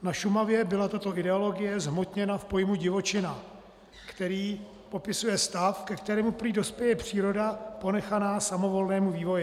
Na Šumavě byla tato ideologie zhmotněna v pojmu divočina, který popisuje stav, ke kterému prý dospěje příroda ponechaná samovolnému vývoji.